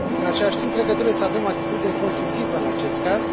În același timp, cred că trebuie să avem o atitudine constructivă în acest caz.